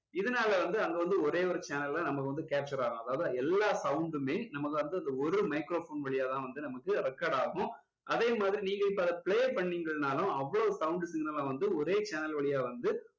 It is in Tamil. இதனால வந்து அங்க வந்து ஒரே ஒரு channel தான் நமக்கு வந்து capture ஆகும் அதாவது எல்லாம் sound உமே நமக்கு வந்து அந்த ஒரு microphone வழியா தான் வந்து நமக்கு record ஆகும் அதே மாதிரி நீங்க இப்போ அதை play பண்ணீங்கன்னாலும் அவ்ளோ sound signal ல வந்து ஒரே channel வழியா வந்து